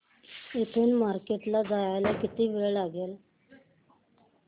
इथून मार्केट ला जायला किती वेळ लागेल